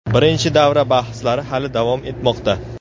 Birinchi davra bahslari hali davom etmoqda.